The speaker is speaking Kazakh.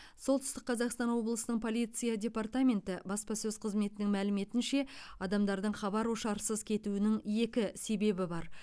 солтүстік қазақстан облысының полиция департаменті баспасөз қызметінің мәліметінше адамдардың хабар ошарсыз кетуінің екі себебі бар